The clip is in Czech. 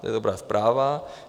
To je dobrá zpráva.